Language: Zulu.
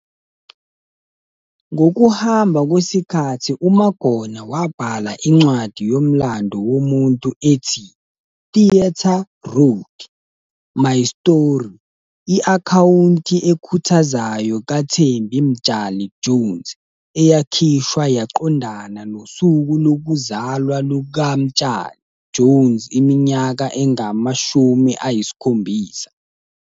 Ngokuhamba kwesikhathi uMagona wabhala incwadi yomlando womuntu ethi 'Theatre Road- My Story i-akhawunti ekhuthazayo kaThembi Mtshali-Jones', eyakhishwa yaqondana nosuku lokuzalwa lukaMtshali-Jones iminyaka engama-70.